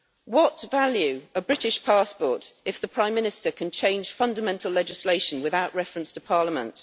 What value a British passport if the Prime Minister can change fundamental legislation without reference to Parliament?